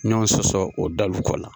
Ɲɔgɔn sɔsɔ o dalu kɔ la.